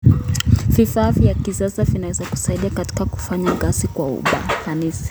Vifaa vya kisasa vinaweza kusaidia katika kufanya kazi kwa ufanisi.